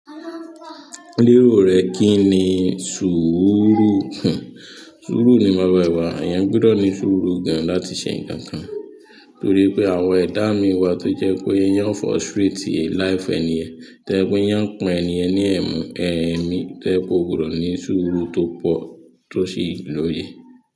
Lérò rẹ kí ni sùúrù? Sùúrù ni baba ìwà, eyan gbọdọ̀ ní sùúrù gan láti ṣe ǹkan kan nítorí pé àwọn ẹ̀dá mi wà tó jẹ́ pé yán frustrate life ènìyen, to je pé yán pín ènìyen ní ẹ̀mú ẹ́mi, to je pé o gbọ́dọ̀ ní sùúrù tó pọ̀ tó sì lóye.